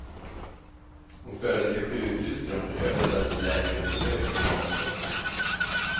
Hon fördes till sjukhus, där hon förhördes efter läkarundersökning och omplåstring.